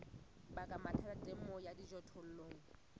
baka mathata temong ya dijothollo